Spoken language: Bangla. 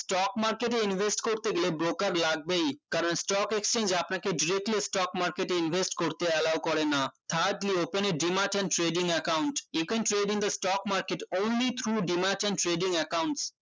stock market এ invest করতে গেলে broker লাগবেই কারণ stock exchage এ আপনাকে directly stock market এ invest করতে allow করে না thirdly open এ dream art and trading account you can trading the stock market only through dream art and trading account